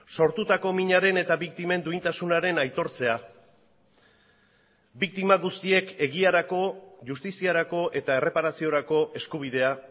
sortutako minaren eta biktimen duintasunaren aitortzea biktima guztiek egiarako justiziarako eta erreparaziorako eskubidea